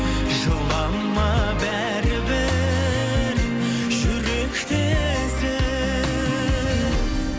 жылама бәрібір жүректесің